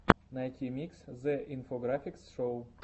найти микс зе инфографикс шоу